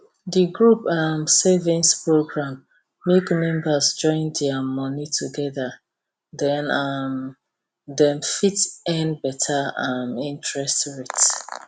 the group um savings program make members join their money together then um dem fit earn better um interest rates